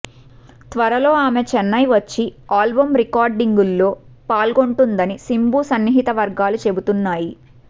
త్వరలో ఆమె చెన్నై వచ్చి ఆల్బం రికార్డింగులో పాల్గొంటుందని శింబు సన్నిహిత వర్గాలు చెబుతున్నాయి